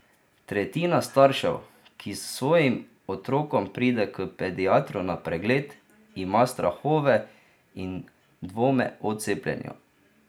Tretjina staršev, ki s svojim otrokom pride k pediatru na pregled, ima strahove in dvome o cepljenju.